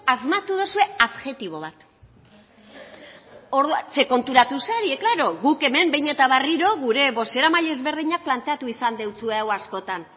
asmatu duzue adjektibo bat konturatu zarete klaro guk behin eta berriro gure bozeramaile ezberdinek planteatu izan deutsue hau askotan